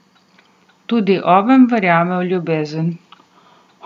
Tudi oven verjame v ljubezen.